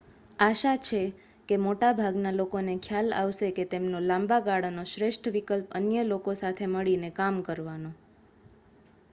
આશા છે કે મોટાભાગના લોકોને ખ્યાલ આવશે કે તેમનો લાંબાગાળાનો શ્રેષ્ઠ વિકલ્પ અન્ય લોકો સાથે મળીને કામ કરવાનો